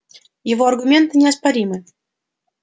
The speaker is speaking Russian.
его аргументы неоспоримы